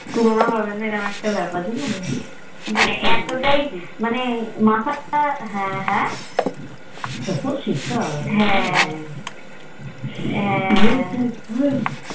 তুলনা হবেনা এরম একটা ব্যাপার বুঝেছো মানে এত তাই মানে মাথা তা হ্যাঁ হ্যাঁ হ্যাঁ